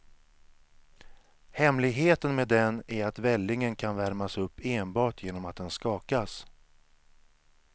Hemligheten med den är att vällingen kan värmas upp enbart genom att den skakas.